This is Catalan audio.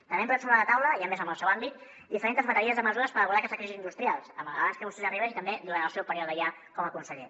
també hem posat sobre la taula i a més en el seu àmbit diferents bateries de mesures per abordar aquestes crisis industrials abans que vostè arribés i també durant el seu període ja com a conseller